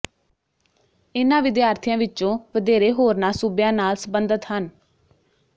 ਇਨ੍ਹਾਂ ਵਿਦਿਆਰਥੀਆਂ ਵਿੱਚੋਂ ਵਧੇਰੇ ਹੋਰਨਾਂ ਸੂਬਿਆਂ ਨਾਲ ਸਬੰਧਤ ਹਨ